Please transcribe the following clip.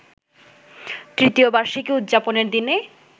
তৃতীয় বার্ষিকী উদযাপনের দিনে